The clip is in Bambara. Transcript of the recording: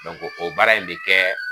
o baara in bɛ kɛ